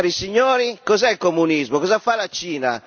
Cari signori cos'è il comunismo, cosa fa la Cina?